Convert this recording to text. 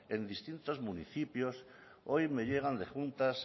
en distintos municipios hoy me llegan de juntas